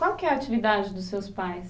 Qual que é a atividade dos seus pais?